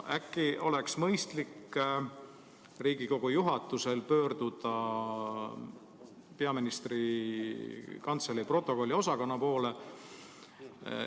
Äkki oleks mõistlik Riigikogu juhatusel pöörduda peaministri kantselei protokolliosakonna poole.